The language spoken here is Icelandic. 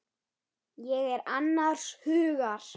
Ég er annars hugar.